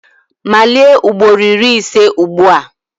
Malie ugboro iri ise ugbu a!